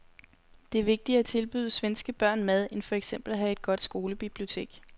Det er vigtigere at tilbyde svenske børn mad end for eksempel at have et godt skolebibliotek.